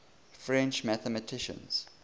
french mathematicians